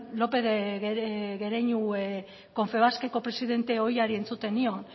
lópez de gereñu confebaskeko presidente ohiari entzuten nion